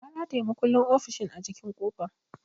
Na rataya makullin ofishin a jikin kofa.